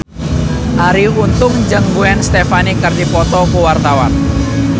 Arie Untung jeung Gwen Stefani keur dipoto ku wartawan